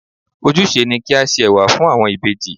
Ojúse ni kí á se Ẹ̀wà fún àwọn ìbejì.